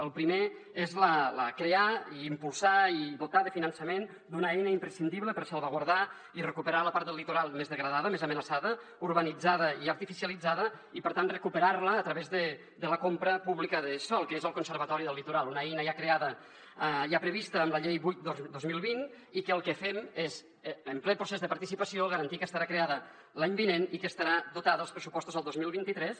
el primer és crear impulsar i dotar de finançament una eina imprescindible per salvaguardar i recuperar la part del litoral més degradada més amenaçada urbanitzada i artificia litzada i per tant recuperar la a través de la compra pública de sòl que és el conservatori del litoral una eina ja prevista en la llei vuit dos mil vint i que el que fem és en ple procés de participació garantir que estarà creada l’any vinent i que estarà dotada als pressupostos del dos mil vint tres